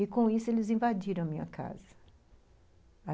E, com isso, eles invadiram a minha casa.